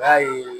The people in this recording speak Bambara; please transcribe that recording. B'a ye